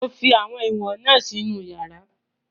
Mo fi àwọn ìwọ̀n na si inú yàrá